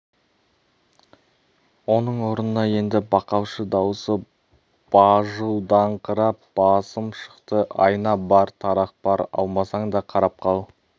оның орнына енді бақалшы дауысы бажылдаңқырап басым шықты айна бар тарақ бар алмасаң да қарап қал